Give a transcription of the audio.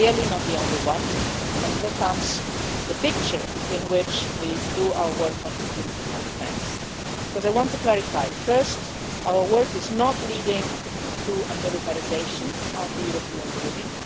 Clearly not the only one, and here comes the picture in which we do our work on security and defence, because I want to clarify, first, that our work is not leading to a militarisation of the European Union.